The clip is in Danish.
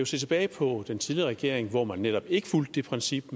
se tilbage på den tidligere regering hvor man netop ikke fulgte det princip